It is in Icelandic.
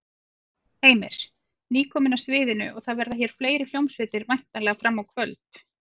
Heimir: Nýkomin af sviðinu og það verða hér fleiri hljómsveitir væntanlega fram á kvöld?